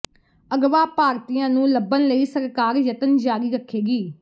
ਅਗਵਾ ਭਾਰਤੀਆਂ ਨੂੰ ਲੱਭਣ ਲਈ ਸਰਕਾਰ ਯਤਨ ਜਾਰੀ ਰੱਖੇਗੀ